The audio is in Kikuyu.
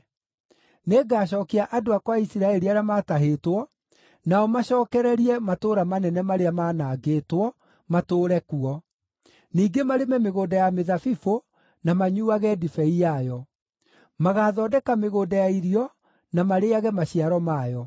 Nĩngacookia andũ akwa a Isiraeli arĩa maatahĩtwo, nao macookererie matũũra manene marĩa maanangĩtwo, matũũre kuo; ningĩ marĩme mĩgũnda ya mĩthabibũ na manyuuage ndibei yayo. Magathondeka mĩgũnda ya irio na marĩĩage maciaro mayo.